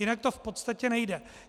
Jinak to v podstatě nejde.